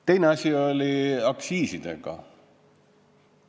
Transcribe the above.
Teine asi oli aktsiisidega.